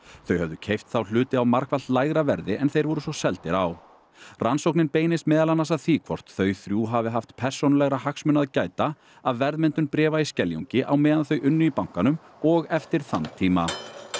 þau höfðu keypt þá hluti á margfalt lægra verði en þeir voru svo seldir á rannsóknin beinist meðal annars að því hvort þau þrjú hafi haft persónulegra hagsmuna að gæta af verðmyndun bréfa í Skeljungi á meðan þau unnu í bankanum og eftir þann tíma